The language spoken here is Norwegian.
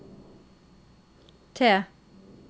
T